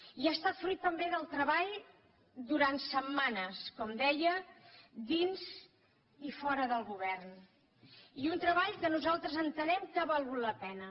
i ha estat fruit també del treball durant setmanes com deia dins i fora del govern i un treball que nosaltres entenem que ha valgut la pena